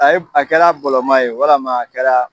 A ye a kɛra bɔlɔma ye walama a kɛ la